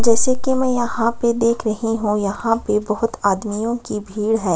जैसे की मैं यहाँ पे देख रही हूं यहाँ पे बहोत आदमियों की भीड़ है।